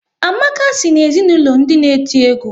Amaka si na ezinaụlọ ndị n'eti egwu